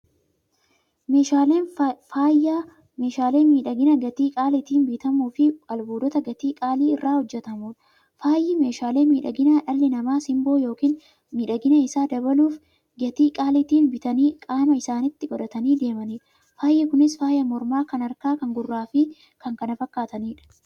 Meeshaaleen Faayyaa meeshaalee miidhaginaa gatii qaalitiin bitamuufi albuuda gatii qaalii irraa hojjatamuudha. Faayyi meeshaalee miidhaginaa, dhalli namaa simboo yookiin miidhagina isaanii dabaluuf, gatii qaalitiin bitanii qaama isaanitti qodhatanii deemaniidha. Faayyi Kunis; faaya mormaa, kan harkaa, kan gurraafi kan kana fakkataniidha.